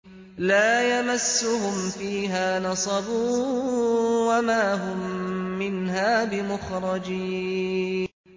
لَا يَمَسُّهُمْ فِيهَا نَصَبٌ وَمَا هُم مِّنْهَا بِمُخْرَجِينَ